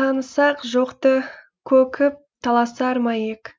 танысақ жоқты көкіп таласар ма ек